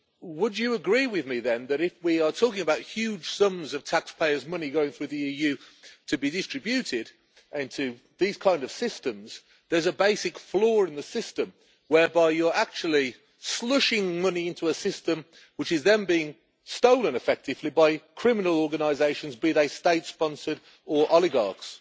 Would you agree with me then that, if we are talking about huge sums of taxpayers' money going through the EU to be distributed into these kind of systems, there is a basic flaw in the system, whereby you are actually slushing money into a system which is then being stolen, effectively, by criminal organisations, be they state sponsored or oligarchs?